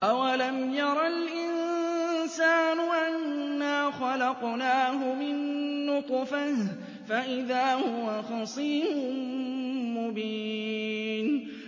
أَوَلَمْ يَرَ الْإِنسَانُ أَنَّا خَلَقْنَاهُ مِن نُّطْفَةٍ فَإِذَا هُوَ خَصِيمٌ مُّبِينٌ